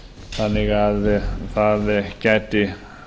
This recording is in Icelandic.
þannig að það gæti